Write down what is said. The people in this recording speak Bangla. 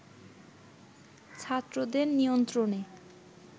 ছাত্রদের নিয়ন্ত্রণে